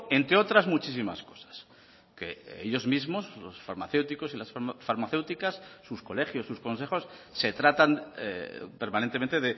entre otras muchísimas cosas que ellos mismos los farmacéuticos y las farmacéuticas sus colegios sus consejos se tratan permanentemente